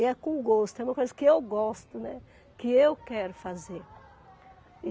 E é com gosto, é uma coisa que eu gosto, né, que eu quero fazer.